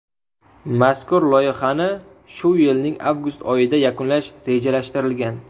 Mazkur loyihani shu yilning avgust oyida yakunlash rejalashtirilgan.